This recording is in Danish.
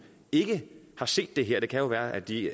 ikke har set det her det kan jo være at de